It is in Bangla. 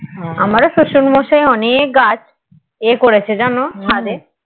আমার ও শশুর মশাই অনেক গাছ ইয়ে করেছে যেন ছাদে